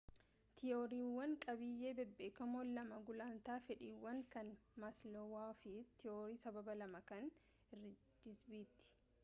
tiyooriiwwan qabiyyee bebbeekamoon lamaan gulantaa fedhiiwwanii kan maasloowuu fi tiwoorii sababa lamaa kan heeritizbergiiti